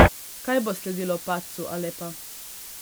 Kaj bo sledilo padcu Alepa?